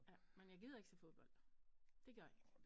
Ja men jeg gider ikke se fodbold det gør jeg ikke